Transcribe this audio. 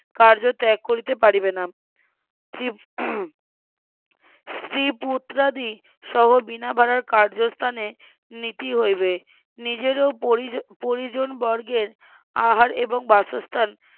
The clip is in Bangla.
কার্য ত্যাগ করিতে পারবে না, স্ত্রী, স্ত্রী পুত্রাদি সহ বিনা ভাড়ার কার্যস্থানে নিতে হইবে, নিজেরও পরি নিজের ও পরিজন বর্গের আহার এবং বাসস্থান,